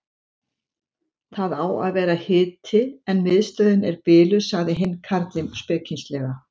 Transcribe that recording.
Það á að vera hiti en miðstöðin er biluð sagði hinn karlinn spekingslega.